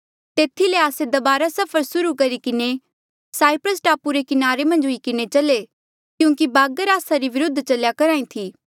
तेथी ले आस्से दबारा सफर सुर्हू करी किन्हें साईप्रस टापू री किनारे मन्झ हुई किन्हें चले क्यूंकि बागर आस्सा रे विरुद्ध चल्या करहा ई थी